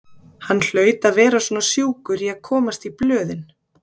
Hann hlaut að vera svona sjúkur í að komast í blöðin.